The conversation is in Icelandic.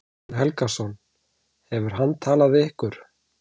Guðjón Helgason: Hefur hann talað við ykkur?